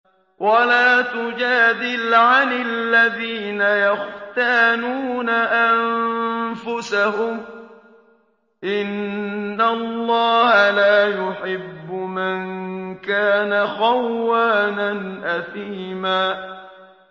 وَلَا تُجَادِلْ عَنِ الَّذِينَ يَخْتَانُونَ أَنفُسَهُمْ ۚ إِنَّ اللَّهَ لَا يُحِبُّ مَن كَانَ خَوَّانًا أَثِيمًا